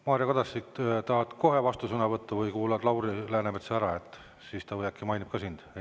Mario Kadastik, tahad kohe vastusõnavõttu või kuulad Lauri Läänemetsa ära, ta äkki mainib ka sind?